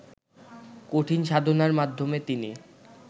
কঠিন সাধনার মাধ্যমে তিনি